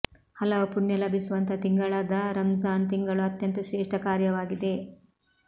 ಹಲವು ಪುಣ್ಯ ಲಭಿಸುವಂತ ತಿಂಗಳಾದ ರಂಝಾನ್ ತಿಂಗಳು ಅಂತ್ಯಂತ ಶ್ರೇಷ್ಠ ಕಾರ್ಯವಾಗಿದೆ